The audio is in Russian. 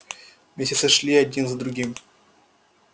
месяцы шли один за другим